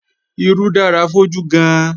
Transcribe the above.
Irú dára fójú gan-an